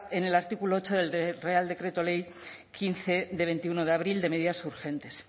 en el artículo ocho del real decreto ley quince de veintiuno de abril de medidas urgentes